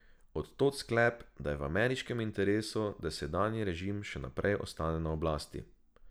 Od tod sklep, da je v ameriškem interesu, da sedanji režim še naprej ostane na oblasti.